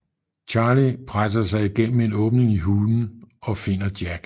Charlie presser sig igennem en åbning i hulen og finder Jack